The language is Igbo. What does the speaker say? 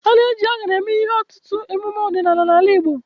A na-eji aṅara eme ihe n'ọtụtụ emume ọdịnala n'ala Igbo.